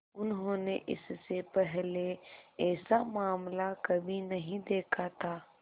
उन्होंने इससे पहले ऐसा मामला कभी नहीं देखा था